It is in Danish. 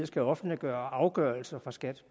skal offentliggøre afgørelser fra skat